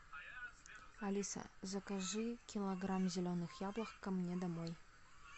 алиса закажи килограмм зеленых яблок ко мне домой